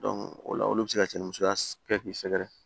o la olu bɛ se ka cɛnni musoya kɛ k'i sɛgɛrɛ